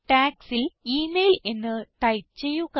Tagsൽ email എന്ന് type ചെയ്യുക